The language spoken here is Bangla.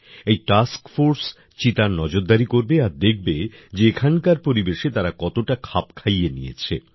এই টাস্ক ফোর্স চিতার নজরদারি করবে আর দেখবে যে এখানকার পরিবেশে তারা কতটা খাপ খাইয়ে নিয়েছে